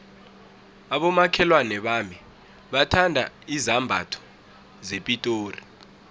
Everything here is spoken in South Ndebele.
abomakhelwana bami bathanda izambatho zepitori